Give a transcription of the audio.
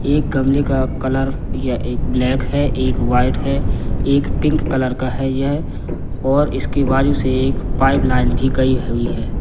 एक गमले का कलर या एक ब्लैक है एक वाइट है एक पिंक कलर का है यह और इसकी बाजू से एक पाइप लाइन भी गई हुई है।